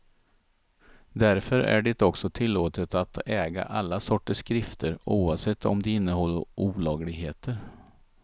Därför är det också tillåtet att äga alla sorters skrifter, oavsett om de innehåller olagligheter.